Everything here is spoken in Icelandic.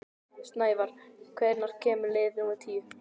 Snævarr, hvenær kemur leið númer tíu?